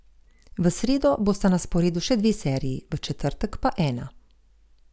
V sredo bosta na sporedu še dve seriji, v četrtek pa ena.